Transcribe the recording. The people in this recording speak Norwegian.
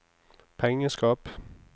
pengeskap